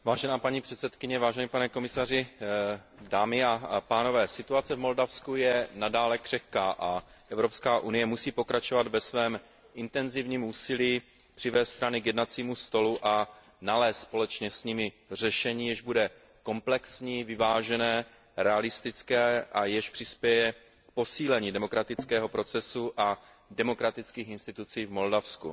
Vážená paní předsedkyně, vážený pane komisaři, dámy a pánové, situace v Moldavsku je nadále křehká a Evropská unie musí pokračovat ve svém intenzivním úsilí přivést strany k jednacímu stolu a nalézt společně s nimi řešení, jež bude komplexní, vyvážené, realistické a jež přispěje k posílení demokratického procesu a demokratických institucí v Moldavsku.